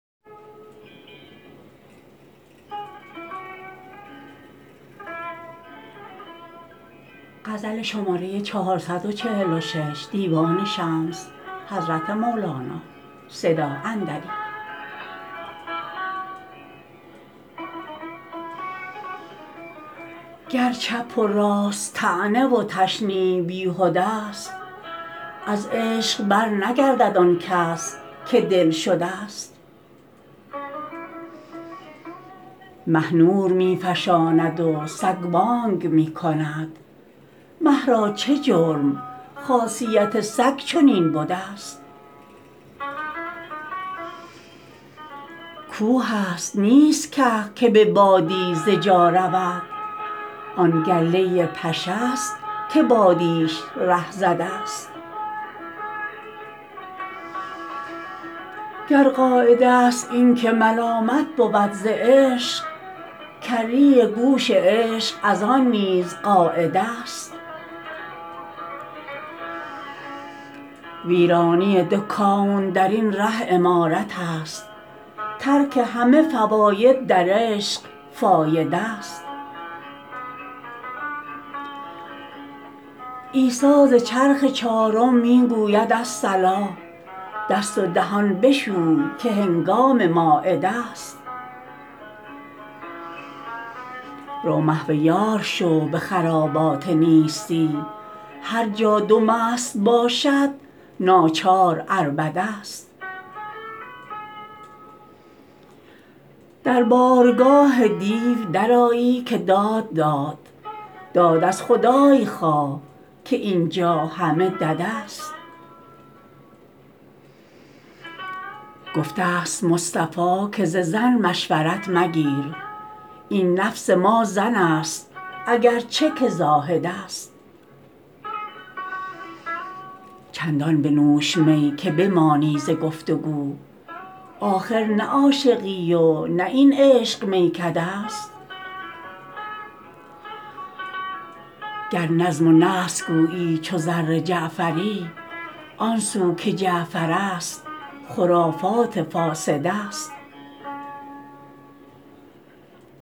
گر چپ و راست طعنه و تشنیع بیهده ست از عشق برنگردد آن کس که دلشده ست مه نور می فشاند و سگ بانگ می کند مه را چه جرم خاصیت سگ چنین بده ست کوهست نیست که که به بادی ز جا رود آن گله پشه ست که بادیش ره زده ست گر قاعده است این که ملامت بود ز عشق کری گوش عشق از آن نیز قاعده ست ویرانی دو کون در این ره عمارتست ترک همه فواید در عشق فایده ست عیسی ز چرخ چارم می گوید الصلا دست و دهان بشوی که هنگام مایده ست رو محو یار شو به خرابات نیستی هر جا دو مست باشد ناچار عربده ست در بارگاه دیو درآیی که داد داد داد از خدای خواه که این جا همه دده ست گفته ست مصطفی که ز زن مشورت مگیر این نفس ما زن ست اگر چه که زاهده ست چندان بنوش می که بمانی ز گفت و گو آخر نه عاشقی و نه این عشق میکده ست گر نظم و نثر گویی چون زر جعفری آن سو که جعفرست خرافات فاسده ست